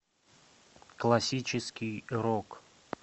классический рок